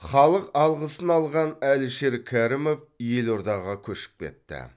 халық алғысын алған әлішер кәрімов елордаға көшіп кетті